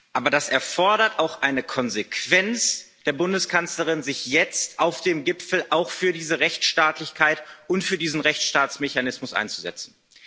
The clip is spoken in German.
Aber das erfordert auch eine Konsequenz der Bundeskanzlerin, sich jetzt auf dem Gipfel auch für diese Rechtsstaatlichkeit und für diesen Rechtsstaatsmechanismus einzusetzen.